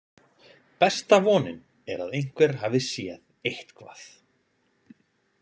Besta vonin er að einhver hafi séð eitthvað.